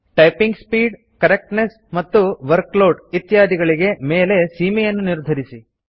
typing speed correctness ಮತ್ತು workload ಇತ್ಯಾದಿಗಳಿಗೆ ಮೇಲೆ ಸೀಮೆಯನ್ನು ನಿರ್ಧರಿಸಿ